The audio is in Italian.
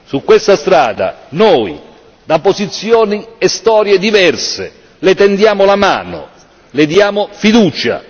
Su questa strada noi, da posizioni e storie diverse, Le tendiamo la mano, Le diamo fiducia.